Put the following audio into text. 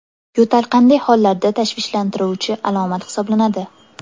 Yo‘tal qanday hollarda tashvishlantiruvchi alomat hisoblanadi?